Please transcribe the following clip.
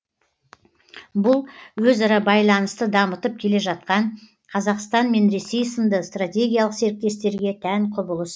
бұл өзара байланысты дамытып келе жатқан қазақстан мен ресей сынды стратегиялық серіктестерге тән құбылыс